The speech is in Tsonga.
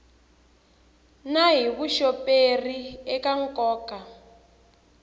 na hi vuxoperi eka nkoka